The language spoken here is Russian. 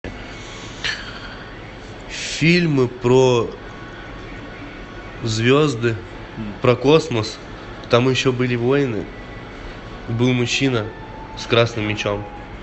фильмы про звезды про космос там еще были войны был мужчина с красным мечом